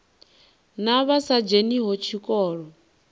na vha sa dzheniho tshikolo